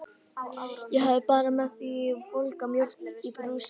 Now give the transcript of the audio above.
Ég hafði bara með mér volga mjólk í brúsa.